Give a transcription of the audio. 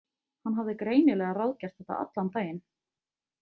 Hann hafði greinilega ráðgert þetta allan daginn.